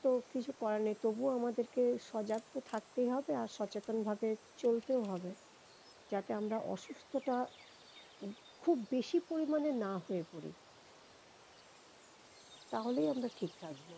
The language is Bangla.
তো কিছু করার নেই তবুও আমাদেরকে সজাগ তো থাকতেই হবে আর সচেতন ভাবে চলতেও হবেযাতে আমরা অসুস্থতা খুব বেশি পরিমানে না হয়ে পরি তা হলেই আমরা ঠিক থাকবো।